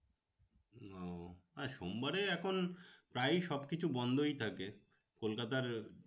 ও আর সোমবারে এখন প্রায়ই সব কিছু বন্ধই থাকে। কলকাতার